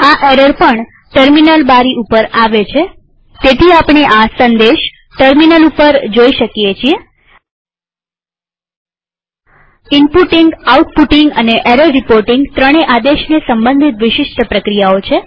આ એરર પણ ટેર્મીનલ બારી ઉપર આવે છેતેથી આપણે આ સંદેશ ટેર્મીનલ ઉપર જોઈ શકીએ છીએ આ ઈનપુટીંગઆઉટપુટીંગ અને એરર રીપોર્ટીંગ ત્રણેય આદેશને સંબંધિત વિશિષ્ટ પ્રક્રિયાઓ છે